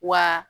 Wa